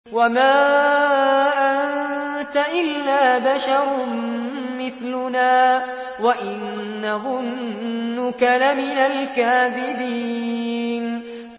وَمَا أَنتَ إِلَّا بَشَرٌ مِّثْلُنَا وَإِن نَّظُنُّكَ لَمِنَ الْكَاذِبِينَ